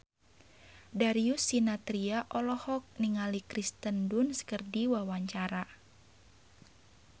Darius Sinathrya olohok ningali Kirsten Dunst keur diwawancara